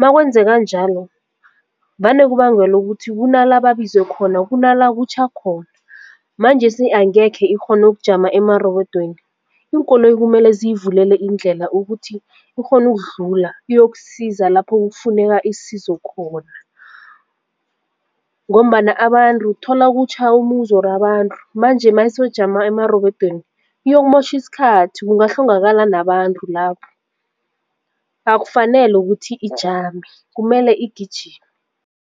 Makwenzeka njalo vane kubangelwa ukuthi kunala babizwe khona kunala kutjha khona manjesi angekhe ikghone ukujama amarobodweni iinkoloyi kumele ziyivule iindlela ukuthi ikghone ukudlula iyokusiza lapho kufuneka isizo khona ngombana abantu uthola kutjha umbuzi or abantu manje mayisojama emarobodweni iyokumotjha isikhathi kungahlongakala nabantu lapho akufanele ukuthi ijame kumele igijimi.